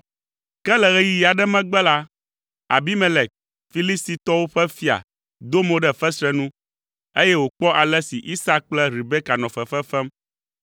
Ke le ɣeyiɣi aɖe megbe la, Abimelek, Filistitɔwo ƒe fia do mo ɖe fesre nu, eye wòkpɔ ale si Isak kple Rebeka nɔ fefe fem.